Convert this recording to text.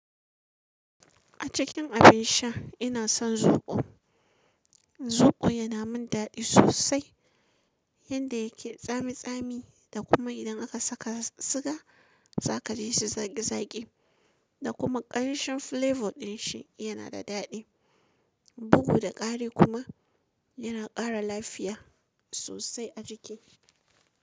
A cikin abin sha ina son zobo. Zobo yana min daɗi sosai, yanda yake tsami tsami da kuma idan aka saka siga za ka ji shi zaƙi zaƙi. Da kuma ƙamshin flavor din shi yana da daɗi. Bugu da ƙari kuma yana ƙara lafiya sosai a jiki.